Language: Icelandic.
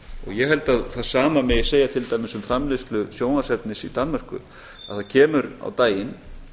ég held að það sama megi segja til dæmis um framleiðslu sjónvarpsefnis í danmörku að það kemur á daginn